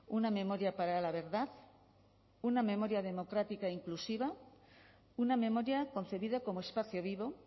una memoria para la verdad una memoria democrática e inclusiva una memoria concebida como espacio vivo